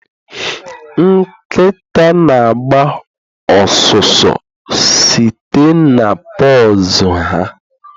Nkịta na-agba ọsụsọ site na paws ha